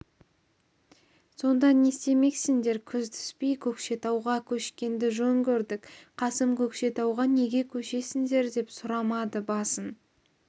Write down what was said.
сонда не істемексіңдер күз түспей көкшетауға көшкенді жөн көрдік қасым көкшетауға неге көшесіңдер деп сұрамады басын